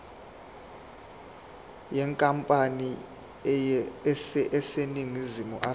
yenkampani eseningizimu afrika